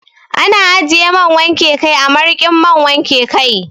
Ana ajiye man wanke kai a marikin man wanke kai.